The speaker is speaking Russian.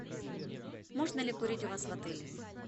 можно ли курить у вас в отеле